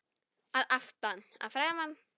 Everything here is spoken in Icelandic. Að aftan, að framan?